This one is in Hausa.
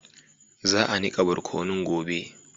Za a niƙa borkunun gobe.